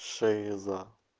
шиза